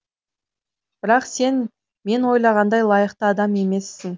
бірақ сен мен ойлағандай лайықты адам емессің